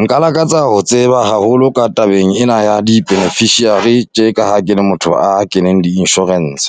Nka lakatsa ho tseba haholo ka tabeng ena ya di-beneficiary tje ka ha ke le motho a keneng di-insurance.